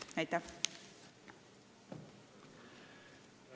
Aitäh!